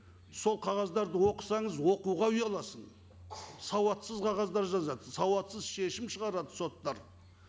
сол қағаздарды оқысаңыз оқуға ұяласың сауатсыз қағаздар жазады сауатсыз шегім шығарады соттар